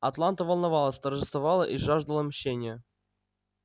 атланта волновалась торжествовала и жаждала мщения